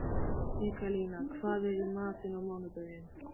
Mikkalína, hvað er í matinn á mánudaginn?